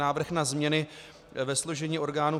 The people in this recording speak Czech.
Návrh na změny ve složení orgánů